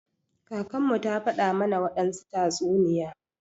Kakanmu ta faɗa mana wadansu tatsuniya.